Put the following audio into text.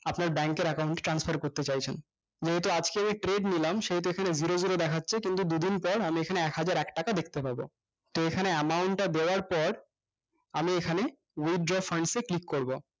আপনার bank এর account এ transfer করতে চাইছেন নেহেটি আজকেই এই trade নিলাম সেহেতু এইখানে ঘুরে ঘুরে দেখাচ্ছে যে দুদিন পর আমি এখানে একহাজার একটাকা দেখতে পাবো তো এখানে amount তা দেওয়ার পর আমি এখানে withdraw flies এ click করবো